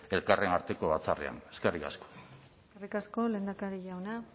elkarren arteko batzarrean eskerrik asko eskerrik asko lehendakari jauna